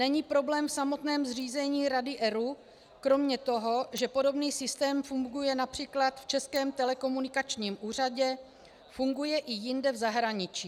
Není problém v samotném zřízení rady ERÚ kromě toho, že podobný systém funguje například v Českém telekomunikačním úřadě, funguje i jinde v zahraničí.